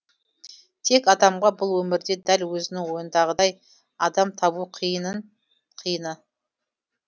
тек адамға бұл өмірде дәл өзінің ойындағыдай адам табу қиынның қиыны